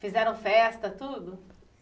Fizeram festa, tudo?